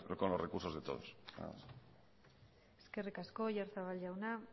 con los recursos de todos nada más eskerrik asko oyarzabal jauna